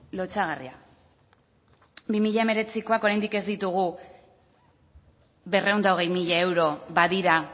lotsagarria bi mila hemeretzikoak oraindik ez ditugu berrehun eta hogei puntu zero euro badira